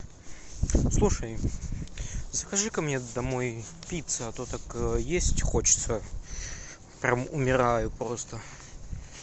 слушай закажи ка мне домой пиццу а то так есть хочется прям умираю просто